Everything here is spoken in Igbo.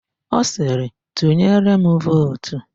Ọ sịrị, "tụnyere m vootu"!